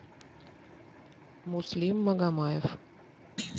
муслим магомаев